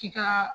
K'i ka